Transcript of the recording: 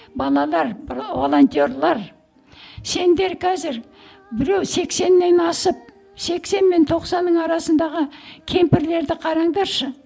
балалар волонтерлар сендер қазір біреу сексеннен асып сексен мен тоқсанның арасындағы кемпірлерді қараңдаршы